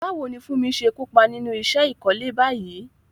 Báwo ni Funmi ṣe kópa nínú iṣẹ́ ìkọ́lé báyìí?